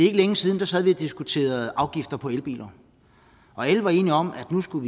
ikke længe siden sad vi og diskuterede afgifter på elbiler og alle var enige om at nu skulle